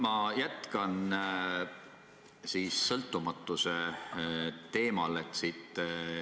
Ma jätkan sõltumatuse teemal.